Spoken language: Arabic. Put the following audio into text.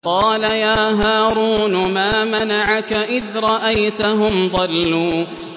قَالَ يَا هَارُونُ مَا مَنَعَكَ إِذْ رَأَيْتَهُمْ ضَلُّوا